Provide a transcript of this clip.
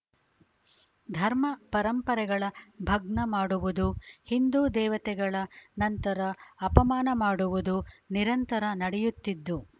ಧರ್ಮ ಪರಂಪರೆಗಳ ಭಗ್ನ ಮಾಡುವುದು ಹಿಂದು ದೇವತೆಗಳ ಸಂತರ ಅಪಮಾನ ಮಾಡುವುದು ನಿರಂತರ ನಡೆಯುತ್ತಿದ್ದು